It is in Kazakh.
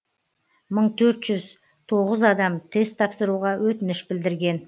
мың төрт жүз тоғыз адам тест тапсыруға өтініш білдірген